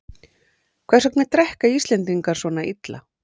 Hvers vegna drekka Íslendingar svona illa?